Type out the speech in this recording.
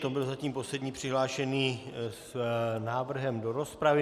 To byl zatím poslední přihlášený s návrhem do rozpravy.